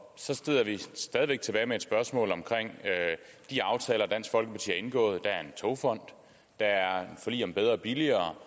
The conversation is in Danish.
så sidder vi stadig væk tilbage med et spørgsmål om de aftaler dansk folkeparti har indgået der er en togfond der er forlig om bedre og billigere